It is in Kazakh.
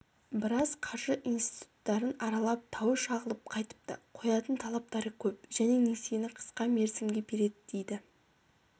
біраз қаржы институттарын аралап тауы шағылып қайтыпты қоятын талаптары көп және несиені қысқа мерзімге береді дейді